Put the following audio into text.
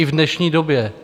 I v dnešní době.